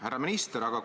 Härra minister!